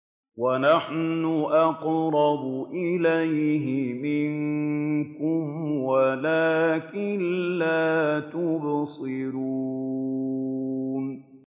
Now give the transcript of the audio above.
وَنَحْنُ أَقْرَبُ إِلَيْهِ مِنكُمْ وَلَٰكِن لَّا تُبْصِرُونَ